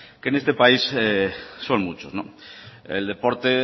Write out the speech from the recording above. que en este país son muchos el deporte